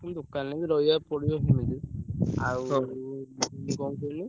ଦୋକାନରେ ବି ରହିଆକୁ ପଡିବ ଜିମିତି ଆଉ କଣ କୁହନି।